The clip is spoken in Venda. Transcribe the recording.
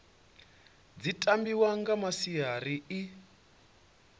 dzi tambiwa nga masiari ḽi